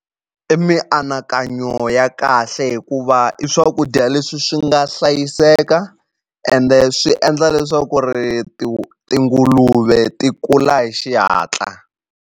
I mianakanyo ya kahle hikuva i swakudya leswi swi nga hlayiseka ende swi endla leswaku ri tinguluve ti kula hi xihatla.